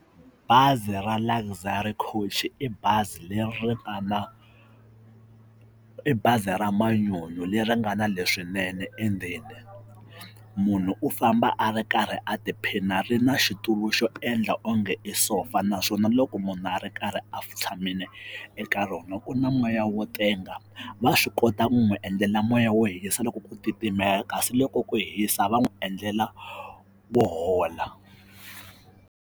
Bazi ra Luxury coach i bazi leri nga na, i bazi ra manyunyu leri nga na leswinene endzeni munhu u famba a ri karhi a tiphina ri na xitulu xo endla onge i sofa naswona loko munhu a ri karhi a tshamile eka rona ku na moya wo tenga va swi kota ku n'wi endlela moya wo hisa loko ku titimela kasi loko ku hisa va n'wi endlela wo hola.